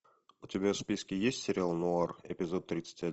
у тебя в списке есть сериал нуар эпизод тридцать